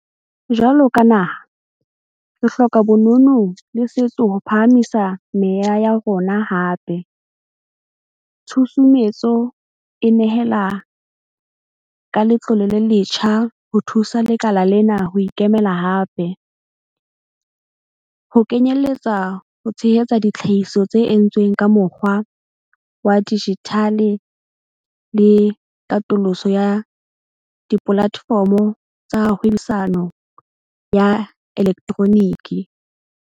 Jwalo ka naha, re hloka bonono le setso ho phahamisa meya ya rona hape - tshusumetso e nehela ka letlole le letjha ho thusa lekala lena ho ikemela hape, ho kenyeletsa ho tshehetsa ditlhahiso tse entsweng ka mokgwa wa dijithale le katoloso ya dipolatefomo tsa hwebisano ya elektroniki.